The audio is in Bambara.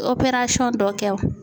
dɔ kɛ